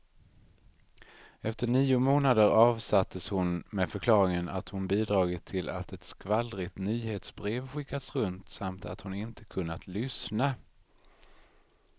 Efter nio månader avsattes hon med förklaringen att hon bidragit till att ett skvallrigt nyhetsbrev skickats runt, samt att hon inte kunnat lyssna.